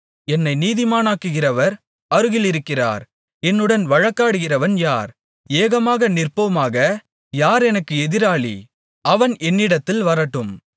என்னை நீதிமானாக்குகிறவர் அருகிலிருக்கிறார் என்னுடன் வழக்காடுகிறவன் யார் ஏகமாக நிற்போமாக யார் எனக்கு எதிராளி அவன் என்னிடத்தில் வரட்டும்